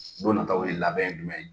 Don nataa ye labɛn ye jumɛn ye?